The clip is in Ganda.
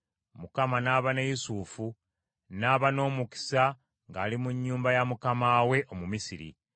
Mukama n’aba ne Yusufu n’aba n’omukisa ng’ali mu nnyumba ya mukama we Omumisiri.